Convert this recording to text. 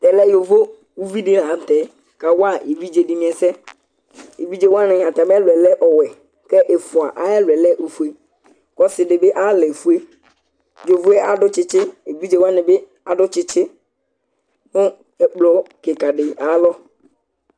ɛmɛyóvọ ụviɗilɑɲụtɛ kɑwɑ ɛviɗzéɗiniɛsɛ ɛvidzéwɑɲi ɑtɑmiẽlụɛ lẽ ɔwẽ ɛfuɑ ɑyɛlụɛ lẽ õfụɛ ɔsiɗibi ɑyɛlẽfụɛ ƴọvó ɑdụ tsitsi ɲɛ ɛkplokikɑɗi ɑyɑlɔ